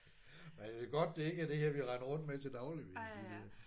Men det er godt det ikke er det her vi render rundt med til daglig vil jeg sige